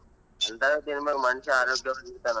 ಅಂತವೆ ತಿನಬೇಕು ಮನುಷ್ಯ ಆರೋಗ್ಯವಾಗಿ ಇರ್ತಾನ.